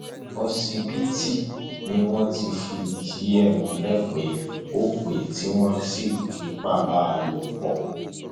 òṣìbìtì ni wọn ti fìdí ẹ múlẹ pé ó pẹ tí wọn ti ń fipá bá a lò pọ